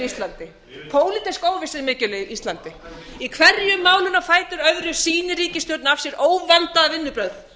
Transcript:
íslandi pólitísk óvissa er mikil á íslandi í hverju málinu á fætur öðru sýnir ríkisstjórnin af sér óvönduð vinnubrögð